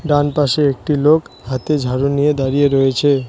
ডানপাশে একটি লোক হাতে ঝাড়ু নিয়ে দাঁড়িয়ে রয়েছে।